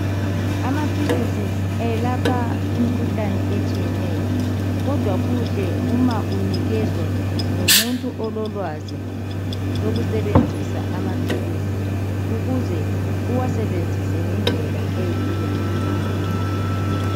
amaphilisi ayelapha imkhuhlane etshiyeneyo kodwa kuhle uma unikezwa ngumuntu ololwazi lokusebenzisa amaphilisi ukuze uwasebenzise ngendlela eyiyo